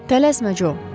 Tələsmə Co.